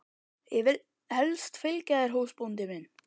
Ég vil helst fylgja þér húsbóndi minn.